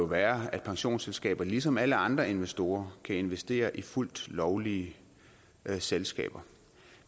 være at pensionsselskaber ligesom alle andre investorer kan investere i fuldt lovlige selskaber